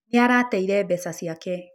Nĩ arateire mbeca ciake.